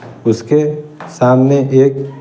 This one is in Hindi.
उसके सामने एक--